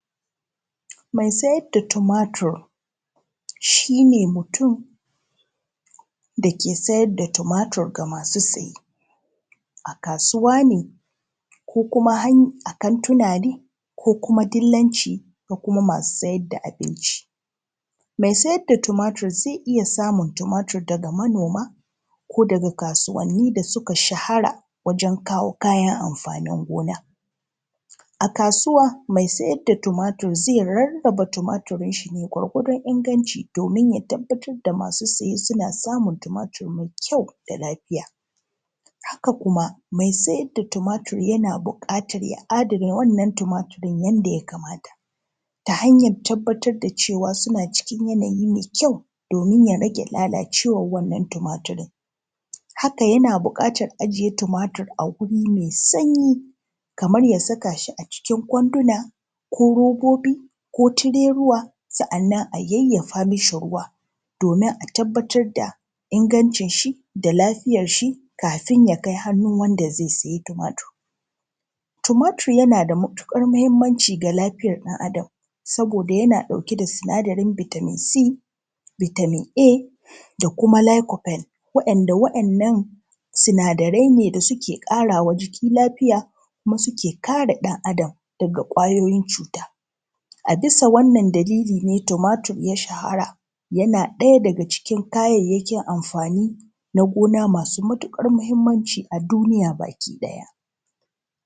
mai sayar da tumatir shine mutum da ke sayar da tumatur ga masu siye a kasuwa ne ko kuma a kantuna ne ko kuma dilanci ko kuma masu sayar da abinci mai sayar da tumatur zai iya samun tumatur daga manoma ko daga kasuwanni da su ka shahara wajen kawo kayan amfani gona a kasuwa mai saida tumatur zai rarraba tumatirin shine gwargwadon ingancin domin ya tabbatar da masu siye suna samun tumatir mai kyau da lafiya haka kuma mai siyar da tumatur yana buƙata ya adana wannan timatirin nan yanda ya kamata ta hanyar tabbatar da cewa suna cikin yanayi mai kyau domin ya rage lalacewan wannnan tumatirin haka yana buƙatan ajiye tumatur a gurin mai sanyi kamar ya saka shi a cikin kwanduna ko robobi ko tireruwa sa'annan a yayyafa mai ruwa domin a tabbatar da ingancin shi da lafiyar shi kafin ya kai hannun wanda zai siye tumatur tumatur ya na da matuƙar mahimmanci ga lafiyan ɗan adam saboda yana ɗauke da sinadarin vitamin c vitamin a da licorpel wa’yannan sinadarai ne da suke ƙarama jiki lafiya kuma su ke kare lafiya ɗan adam daga ƙwayoyin cuta a bisa wannan dalili ne tumatur ya shahara yana ɗaya daga cikin kayayyakin amfani na gona masu matuƙar mahimmanci a duniya gabaki ɗaya